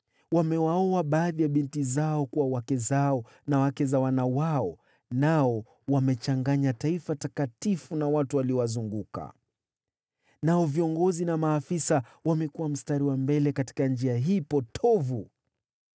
Wamewaoa baadhi ya binti zao kuwa wake zao na wake za wana wao, nao wamechanganya taifa takatifu na watu waliowazunguka. Nao viongozi na maafisa wamekuwa mstari wa mbele katika njia hii potovu.”